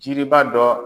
Jiriba dɔ